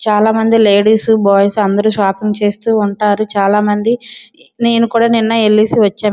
చాలా మంది ladies boys అందరు షాపింగ్ చేస్తు ఉంటారు చాలా మంది నేను కూడా నిన్న వెల్లేసి వచ్చాను.